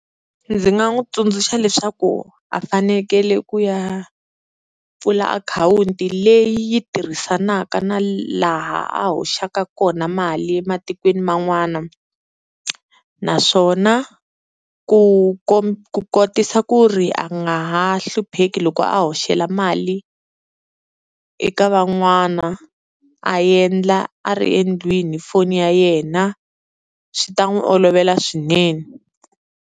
Ndzi nga n'wi tsundzuxa leswaku a fanekele ku ya pfula akhawunti leyi yi tirhisanaka na laha a hoxaka kona mali ematikweni man'wana. Naswona ku ku kotisa ku ri a nga ha hlupheki loko a hoxela mali eka van'wana a endla a ri endlwini hi foni ya yena swi ta n'wi olovela swinene.